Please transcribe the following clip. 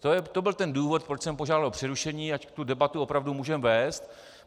To byl ten důvod, proč jsem požádal o přerušení, ať tu debatu opravdu můžeme vést.